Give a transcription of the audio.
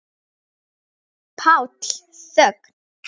PÁLL: Þögn!